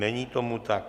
Není tomu tak.